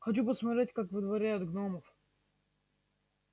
хочу посмотреть как выдворяют гномов